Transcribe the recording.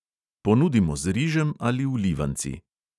Ponudimo z rižem ali vlivanci.